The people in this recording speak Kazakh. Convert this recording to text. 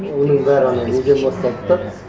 оның бәрі анау неден басталды да